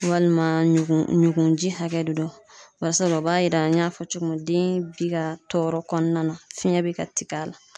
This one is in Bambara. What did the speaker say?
Walima ɲugun ɲugunji hakɛ de don barisabu la o b'a yira an y'a fɔ cogo min den bi ka tɔɔrɔ kɔnɔna na fiyɛn bɛ ka tigɛ a la.